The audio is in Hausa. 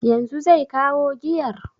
Yanzu zai kawo giyar?